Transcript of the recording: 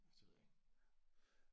Ja det ved jeg ikke